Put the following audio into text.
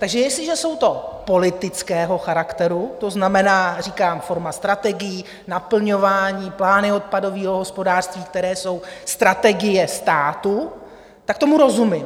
Takže jestliže jsou to politického charakteru, to znamená, říkám, forma strategií, naplňování, plány odpadového hospodářství, které jsou strategie státu, tak tomu rozumím.